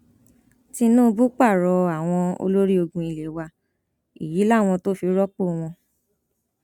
tinúbù pààrọ àwọn olórí ológun ilé wa èyí làwọn tó fi rọpò wọn